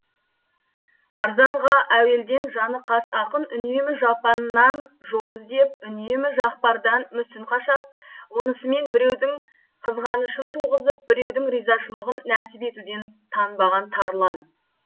арзанға әуелден жаны қас ақын үнемі жапаннан жол іздеп үнемі жақпардан мүсін қашап онысымен біреудің қызғанышын туғызып біреудің ризашылығын нәсіп етуден танбаған тарлан